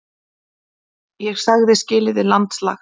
Ég sagði skilið við landslags